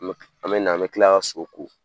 An bɛ an bɛ na an bɛ tila ka su ko.